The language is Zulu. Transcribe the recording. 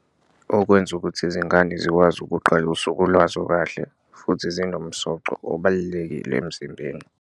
Okwenza ukuthi izingane zikwazi ukuqala usuku lwazo kahle futhi zinomsoco obalulekile emzimbeni.